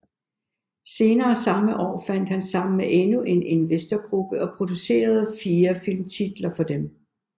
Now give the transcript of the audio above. Senere samme år fandt han sammen med endnu en investorgruppe og producerede 4 filmtitler for dem